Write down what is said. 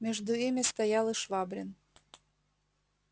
между ими стоял и швабрин